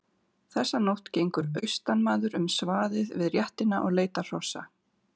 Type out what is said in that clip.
Þessa nótt gengur austanmaður um svaðið við réttina og leitar hrossa.